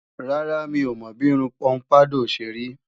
Rárá, mi ò mọ bí irun pọ́mpádọ̀ ṣe rí